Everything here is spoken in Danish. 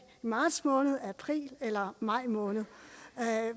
marts måned april eller maj måned